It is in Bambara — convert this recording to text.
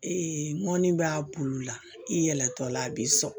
mɔni b'a bulu la i yɛlɛtɔla a bi sɔn